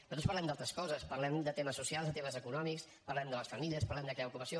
nosaltres parlem d’altres coses parlem de temes socials de temes econòmics parlem de les famílies parlem de crear ocupació